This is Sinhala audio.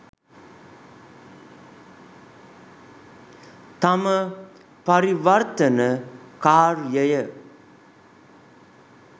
තම පරිවර්තන කාර්යය